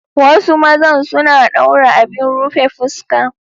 Wasu mazan suna daura abin rufe fuska.